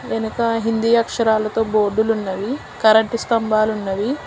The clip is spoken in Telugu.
వెనుక హిందీ అక్షరాలతో బోర్డులున్నవి కరెంటు స్థంభాలున్నవి.